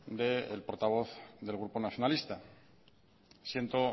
del portavoz del grupo nacionalista siento